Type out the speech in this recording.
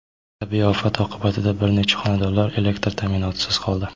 Tabiiy ofat oqibatida bir necha xonadonlar elektr ta’minotisiz qoldi.